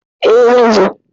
E, zan zo.